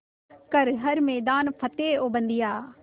कर हर मैदान फ़तेह ओ बंदेया